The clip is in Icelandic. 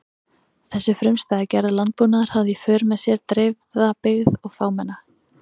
Þessi frumstæða gerð landbúnaðar hafði í för með sér dreifða byggð og fámenna.